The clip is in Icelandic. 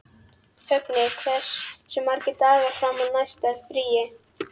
Högni, hversu margir dagar fram að næsta fríi?